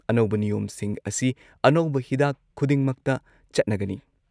ꯑꯅꯧꯕ ꯅꯤꯌꯣꯝꯁꯤꯡ ꯑꯁꯤ ꯑꯅꯧꯕ ꯍꯤꯗꯥꯛ ꯈꯨꯗꯤꯡꯃꯛꯇ ꯆꯠꯅꯒꯅꯤ ꯫